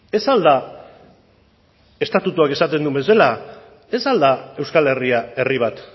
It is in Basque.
ez al da estatutuak esaten duen bezala ez al da euskal herria herri bat